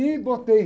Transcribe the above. E botei